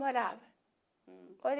Morava.